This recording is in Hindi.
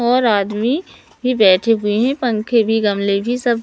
और आदमी ही बैठे हुए हैं। पंखे भी गमले भी सब--